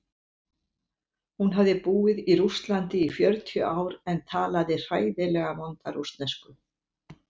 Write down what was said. Hún hafði búið í Rússlandi í fjörutíu ár en talaði hræðilega vonda rússnesku.